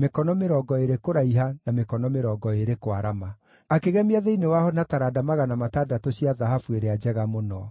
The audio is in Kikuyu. mĩkono mĩrongo ĩĩrĩ kũraiha na mĩkono mĩrongo ĩĩrĩ kwarama. Akĩgemia thĩinĩ waho na taranda 600 cia thahabu ĩrĩa njega mũno.